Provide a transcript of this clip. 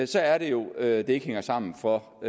så er det jo at det ikke hænger sammen for